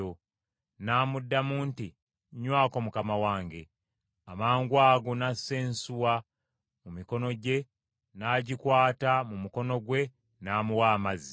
N’amuddamu nti, “Nywako mukama wange.” Amangwago n’assa ensuwa mu mikono gye, n’agikwata mu mukono gwe n’amuwa amazzi.